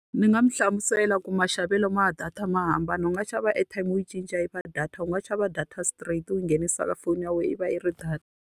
Ndzi nga n'wi hlamusela ku maxavelo ma data ma hambana, u nga xava airtime u yi cinca yi va data, u nga xava data straight, u nghenisa ka foni ya wena, yi va yi ri data.